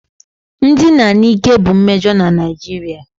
Ndina n'ike bụ mmejọ na Naijiria